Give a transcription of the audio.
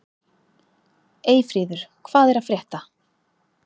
Eyfríður, hvað er að frétta?